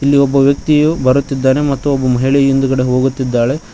ಇಲ್ಲೊಬ್ಬ ವ್ಯಕ್ತಿಯು ಬರುತ್ತಿದ್ದಾನೆ ಮತ್ತು ಒಬ್ಬ ಮಹಿಳೆ ಹಿಂದ್ಗಡೆ ಹೋಗುತ್ತಿದ್ದಾಳೆ